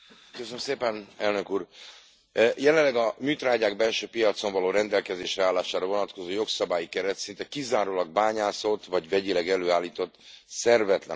Jelenleg a műtrágyák belső piacon való rendelkezésre állására vonatkozó jogszabályi keret szinte kizárólag bányászott, vagy vegyileg előállított szervetlen agyagokból készült műtrágyákra vonatkozik.